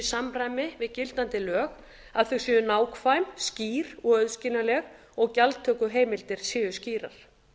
samræmi við gildandi lög að þau séu nákvæm skýr og auðskiljanleg og gjaldtökuheimildir séu skýrar